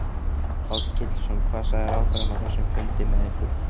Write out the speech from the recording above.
Páll Ketilsson: Hvað sagði ráðherrann á þessum fundi með ykkur?